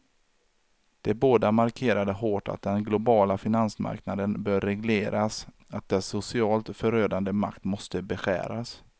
De båda markerade hårt att den globala finansmarknaden bör regleras, att dess socialt förödande makt måste beskäras.